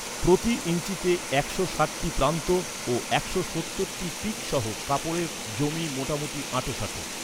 প্রতি ইঞ্চিতে একশো ষাটটি প্রান্ত ও একশো সত্তর টি পিক সহ কাপড়ের যমী মোটামুটি আঁটসাঁট।